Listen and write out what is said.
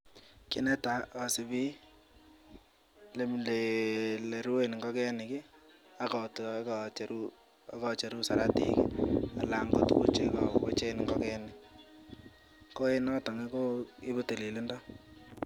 ki netai asubi ole ruen ngokenik ak acheru saratikeng kochen ngokenik . ko noto koibu tililindo